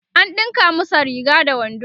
an ɗinka masa Riga da wando